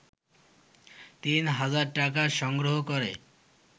তিন হাজার টাকা সংগ্রহ করে